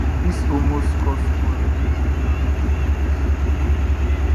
dis almost cause quarrel between am and di police